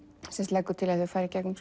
leggur til að þau fari gegnum